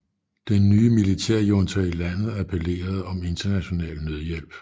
Den nye militærjunta i landet appellerede om international nødhjælp